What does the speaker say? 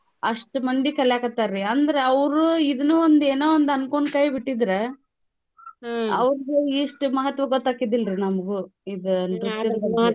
ಆಷ್ಟ್ ಮಂದಿ ಕಲ್ಯಾಕತ್ತಾರ್ರಿ ಅಂದ್ರ ಅವ್ರೂ ಇದ್ನೂ ಒಂದ್ ಏನೋ ಒಂದ್ ಅನ್ಕೊಂಡ್ ಕೈ ಬಿಟ್ಟಿದ್ರೆ ಇಷ್ಟ್ ಮಹತ್ವ ಗೊತ್ತಾಕ್ಕಿಡ್ಡಿಲ್ರಿ ನಮ್ಗೂ ಇದ್ .